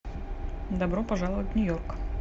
добро пожаловать в нью йорк